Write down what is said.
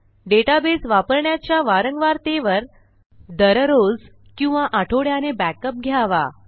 database वापरण्याच्या वारंवारतेवर दररोज किंवा आठवड्याने बॅकअप घ्यावा